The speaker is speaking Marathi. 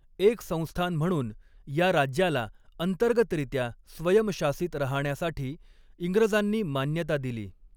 एक संस्थान म्हणून या राज्याला अंतर्गतरित्या स्वयंशासित राहण्यासाठी इंग्रजांनी मान्यता दिली.